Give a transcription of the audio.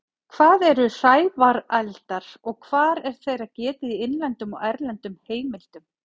Hvað eru hrævareldar og hvar er þeirra getið í innlendum og erlendum heimildum?